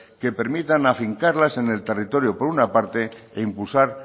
que permitan afincarlas en el territorio por una parte e impulsar